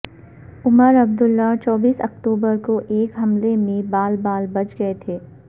عمر عبداللہ چوبیس اکتوبر کو ایک حملے میں بال بال بچ گئے تھے